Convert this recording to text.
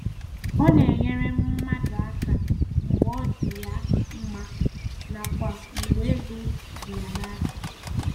Ọ na - enyere mmadụ aka mgbe ọ dị ya mma nakwa mgbe ego dị ya n'aka.